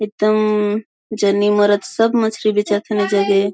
इतम्म जनी मरद सब मछरी बेचअथन इ जगे--